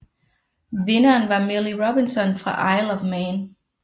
Vinderen var Millie Robinson fra Isle of Man